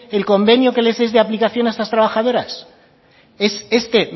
el convenio que les es de aplicación a estas trabajadoras es este